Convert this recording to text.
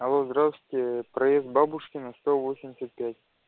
алло здравствуйте проезд бабушкина сто восемьдесят пять